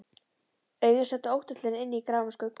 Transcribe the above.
Augun sátu óttaslegin inni í gráum skuggum.